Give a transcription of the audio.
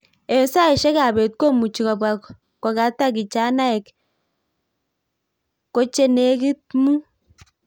Eng saishek ab beet komuchi kobwa kogata kijanaek kche negit muut.